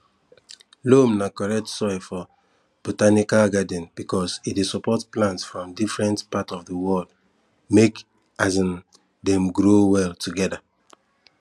loam na correct soil for botanical garden because e dey support plant from different part of the world make um dem grow well together